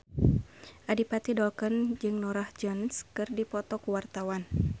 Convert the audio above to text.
Adipati Dolken jeung Norah Jones keur dipoto ku wartawan